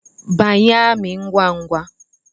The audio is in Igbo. Banye amị ngwa ngwa!